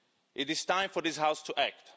It is time for this House to act.